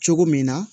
Cogo min na